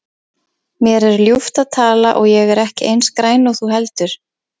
Mér er ljúft að tala og ég er ekki eins græn og þú heldur.